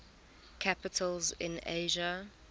capitals in asia